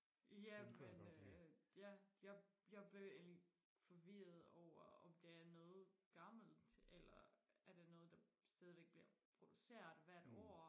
ja men øh ja jeg jeg blev egentlig forvirret over om det er noget gammelt eller er det noget der stadigvæk bliver produceret hvert år